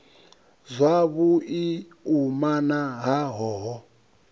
zwavhu i umana ha hoho